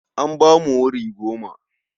An ba mu wuri goma.